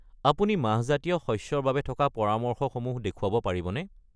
আপুনি মাহজাতীয় শস্য ৰ বাবে থকা পৰামৰ্শসমূহ দেখুৱাব পাৰিবনে?